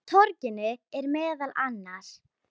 Á torginu eru meðal annars